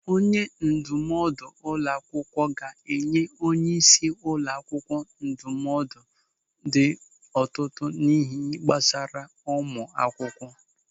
Onye ndụmọdụ ụlọ akwụkwọ ga-enye onyeisi ụlọ akwụkwọ ndụmọdụ n'ọtụtụ ịhe gbasara ụmụ akwụkwọ.